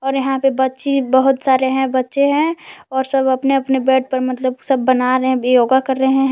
और यहां पे बच्ची बहोत सारे बच्चे है और सब अपने अपने बेड पर मतलब बना रहे योगा कर रहे हैं।